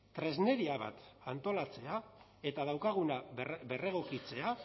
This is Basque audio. tresneria bat antolatzea eta daukaguna berregokitzea